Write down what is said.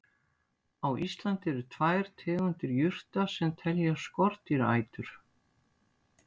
Á Íslandi eru tvær tegundir jurta sem teljast skordýraætur.